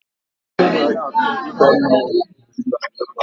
Ugbo ugu ga na-achọ igba mmiri mgbe niile